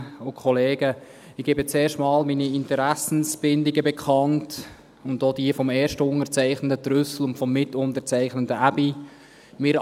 Ich gebe zuerst meine Interessenbindungen und auch jene des Erstunterzeichners Trüssel und des Mitunterzeichners Aebi bekannt.